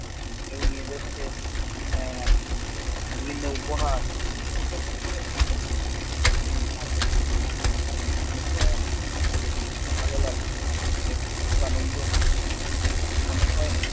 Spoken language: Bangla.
কেউ নিয়ে যাচ্ছে আহ বিভিন্ন উপহার। এরকম করে অনেক কিছু নিয়ে যাওয়া হয়। কি ভালো লাগছে, দেখলে খুব আনন্দ মনে হয়